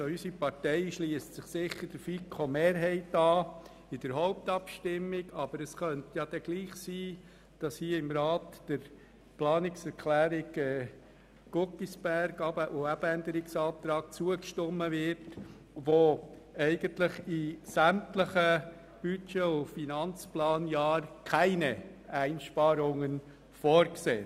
Unsere Partei schliesst sich in der Hauptabstimmung sicher der FiKo-Mehrheit an, aber es könnte trotzdem sein, dass hier im Rat dem Änderungsantrag Guggisberg zugestimmt wird, der in sämtlichen Budget- und Finanzplanjahren keine Einsparungen vorsieht.